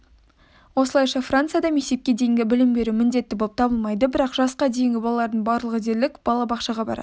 осылайша францияда мектепке дейінгі білім беру міндетті болып табылмайды бірақ жасқа дейінгі балалардың барлығы дерлік балабақшаға барады